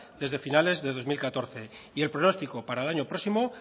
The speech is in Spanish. desde finales de dos mil catorce y el pronóstico para el año próximo